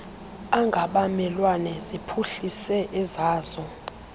angabamelwane ziphuhlise ezazo